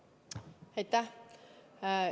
Aitäh!